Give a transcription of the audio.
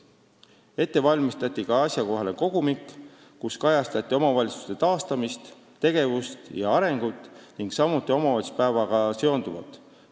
Ette valmistati ka asjakohane kogumik, kus kajastatakse omavalitsuste taastamist, tegevust ja arengut ning omavalitsuspäevaga seonduvat.